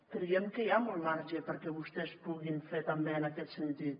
creiem que hi ha molt marge perquè vostès puguin fer també en aquest sentit